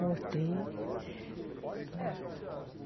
Voltei.